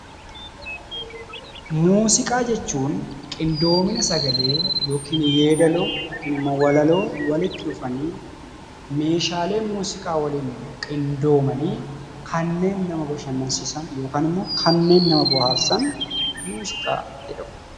Muuziqaa jechuun qindoomina sagalee yookiin yeedaloo yookiin immoo walaloo walitti dhufanii meeshaalee muuziqaa waliin qindoomanii kanneen nama bashannansiisan yookaan ammoo kanneen nama bohaarsan muuziqaa jedhamu.